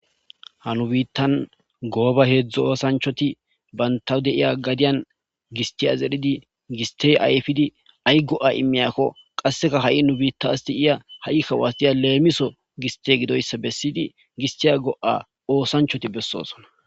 ha nu biittan gooba heedzdzo oosanchoti bantaw deiya gadiyan gistiyas erhidi gistey ayfidi ay go7a immiyakko qasseka ha7i nu biitta asti iya ha7i kawasiya leemiso giste gidoyssa bessidi gistiya go7a oosanchoti bessoosona